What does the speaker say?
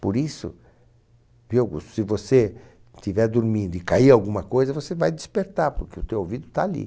Por isso, se você estiver dormindo e cair alguma coisa, você vai despertar, porque o teu ouvido está ali.